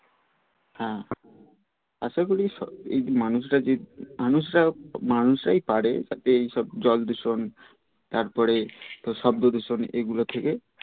হ্যাঁ আশা করি এই মানুষরা যে মানুষরা মানুষরাই পারে তাতে এই সব জল দূষণ তারপরে শব্দ দূষণ এ গুলো থেকে